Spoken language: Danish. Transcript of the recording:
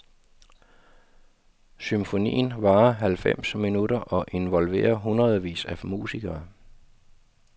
Symfonien varer halvfems minutter og involverer hundredvis af musikere.